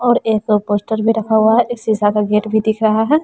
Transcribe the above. और एक पोस्टर भी रखा हुआ है एक शिशा का गेट भी दिख रहा है।